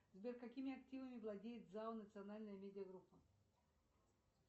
сбер какими активами владеет зао национальная медиа группа